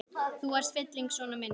Þú varst fylling vona minna.